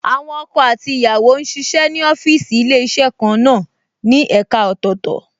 Àwọn ọkọ àti ìyàwó ń ṣiṣẹ́ ní ọ́fíìsì Ilé-iṣẹ́ kan náà ní ẹ̀ka ọ̀tọ̀ọ̀tọ̀